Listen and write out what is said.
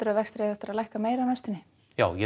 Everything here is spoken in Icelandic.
að vextir eigi eftir að lækka meira á næstunni já ég